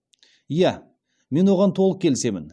иә мен оған толық келісемін